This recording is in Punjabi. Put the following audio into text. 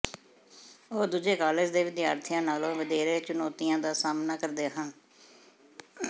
ਉਹ ਦੂਜੇ ਕਾਲਜ ਦੇ ਵਿਦਿਆਰਥੀਆਂ ਨਾਲੋਂ ਵਧੇਰੇ ਚੁਣੌਤੀਆਂ ਦਾ ਸਾਹਮਣਾ ਕਰਦੇ ਹਨ